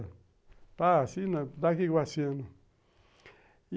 Dá aqui que eu assino.